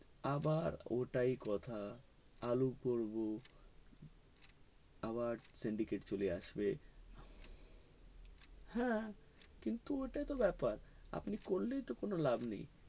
আবার ওটাই কথা আলু করবো আবার syndicate চলে আসবে হে কিন্তু ওটাই তো ব্যাপার আপনি করলেই তো কোনো লাভ নেই